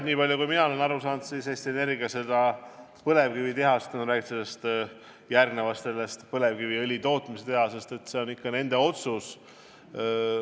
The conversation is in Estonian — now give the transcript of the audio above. Nii palju kui mina olen aru saanud, siis mis puutub Eesti Energia tehasesse – jutt on sellest põlevkiviõli tootmise tehasest –, siis see on ikka nende otsus.